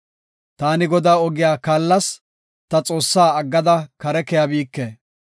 Taani Godaa ogiya kaallas; ta Xoossaa aggada kare keyabike.